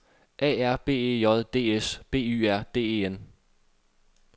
A R B E J D S B Y R D E N